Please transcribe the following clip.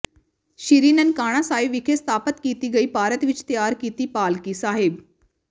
ਸ੍ਰੀ ਨਨਕਾਣਾ ਸਾਹਿਬ ਵਿਖੇ ਸਥਾਪਤ ਕੀਤੀ ਗਈ ਭਾਰਤ ਵਿਚ ਤਿਆਰ ਕੀਤੀ ਪਾਲਕੀ ਸਾਹਿਬ